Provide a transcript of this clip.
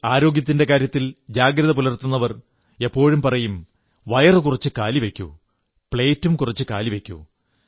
ആരോഗ്യത്തിന്റെ കാര്യത്തിൽ ജാഗ്രത പുലർത്തുന്നവർ എപ്പോഴും പറയും വയറും കുറച്ച് കാലി വയ്ക്കൂ പ്ലേറ്റും കുറച്ച് കാലി വയ്ക്കൂ